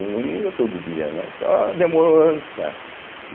Não ia todo dia, né, só demorou anos para.